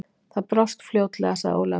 Það brást fljótlega, sagði Ólafur.